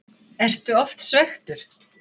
Ertu oft svekktur?